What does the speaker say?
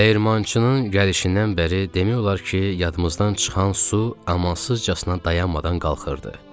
Dəyirmançının gəlişindən bəri demək olar ki, yadımızdan çıxan su amansızcasına dayanmadan qalxırdı.